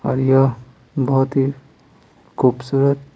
और यह बहुत ही खूबसूरत --